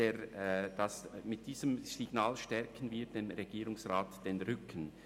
Mit diesem Signal stärken wir dem Regierungsrat den Rücken.